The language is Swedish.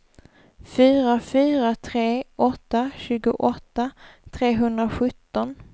fyra fyra tre åtta tjugoåtta trehundrasjutton